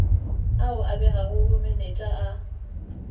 ao a begago bomenetša a